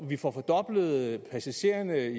at vi får fordoblet passagertallet